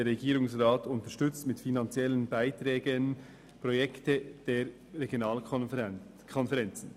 «Der Regierungsrat unterstützt mit finanziellen Beiträgen Projekte der Regionalkonferenzen.»